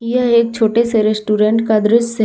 यह एक छोटे से रेस्टोरेंट का दृश्य है।